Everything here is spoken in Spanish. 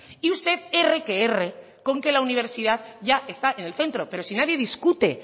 y usted erre que erre con que la universidad ya está en el centro pero si nadie discute